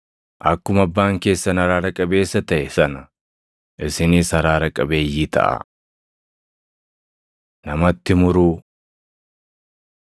Akkuma abbaan keessan araara qabeessa taʼe sana, isinis araara qabeeyyii taʼaa. Namatti Muruu 6:37‑42 kwf – Mat 7:1‑5